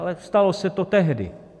Ale stalo se to tehdy.